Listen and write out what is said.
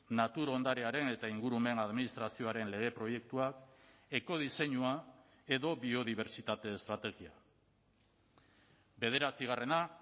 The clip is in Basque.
natur ondarearen eta ingurumen administrazioaren lege proiektuak ekodiseinua edo biodibertsitate estrategia bederatzigarrena